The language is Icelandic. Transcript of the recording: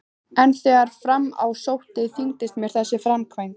En þegar fram í sótti þyngdist mér þessi framkvæmd.